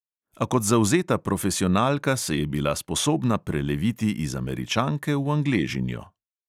A kot zavzeta profesionalka se je bila sposobna preleviti iz američanke v angležinjo.